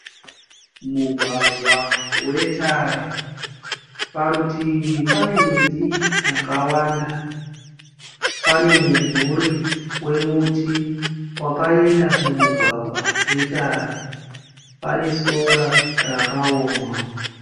Mugwagwa wetara parutivi pane miti yakawanda, pane mumvuri wemuti wakaenda mumugwagwa wetara. Pane sora rakaoma.